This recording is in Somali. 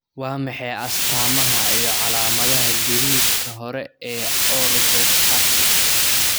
Waa maxay astamaha iyo calaamadaha gariirka hore ee orthostatic?